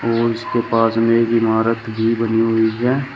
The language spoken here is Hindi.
स्कूल्स के पास में एक इमारत भी बनी हुई है।